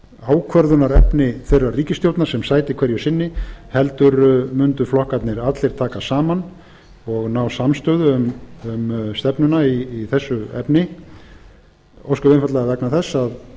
ákvörðunarefni þeirrar ríkisstjórnar sem sæti hverju sinni heldur mundu flokkarnir allir taka saman og ná samstöðu um stefnuna í þessu efni ósköp einfaldlega vegna þess að